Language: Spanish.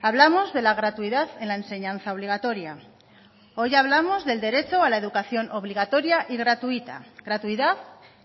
hablamos de la gratuidad en la enseñanza obligatoria hoy hablamos del derecho a la educación obligatoria y gratuita gratuidad